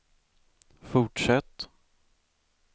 fortsätt